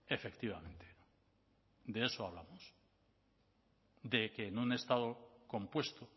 efectivamente de eso hablamos de que en un estado compuesto